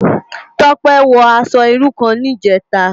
Tope wò aṣò irú kán nijètá